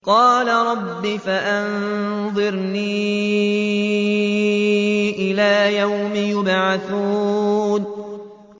قَالَ رَبِّ فَأَنظِرْنِي إِلَىٰ يَوْمِ يُبْعَثُونَ